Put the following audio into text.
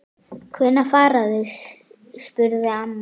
Hvenær fara þau? spurði amma.